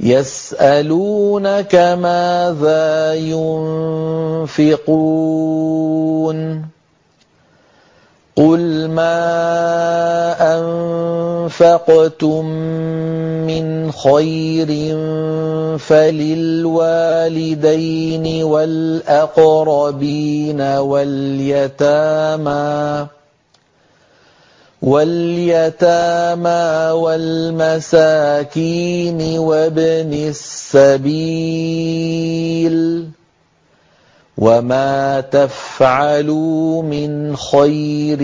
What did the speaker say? يَسْأَلُونَكَ مَاذَا يُنفِقُونَ ۖ قُلْ مَا أَنفَقْتُم مِّنْ خَيْرٍ فَلِلْوَالِدَيْنِ وَالْأَقْرَبِينَ وَالْيَتَامَىٰ وَالْمَسَاكِينِ وَابْنِ السَّبِيلِ ۗ وَمَا تَفْعَلُوا مِنْ خَيْرٍ